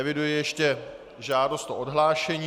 Eviduji ještě žádost o odhlášení.